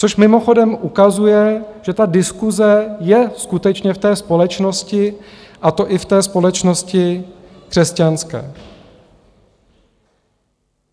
Což mimochodem ukazuje, že ta diskuse je skutečně v té společnosti, a to i v té společnosti křesťanské.